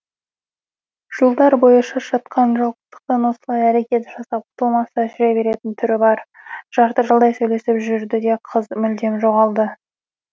жылдар бойы шаршатқан жалғыздықтан осылай әрекет жасап құтылмаса жүре беретін түрі бар жарты жылдай сөйлесіп жүрді де қыз мүлдем жоғалды